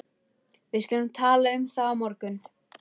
Við skulum tala um það á morgun